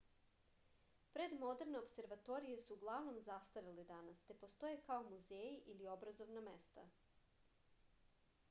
predmoderne opservatorije su uglavnom zastarele danas te postoje kao muzeji ili obrazovna mesta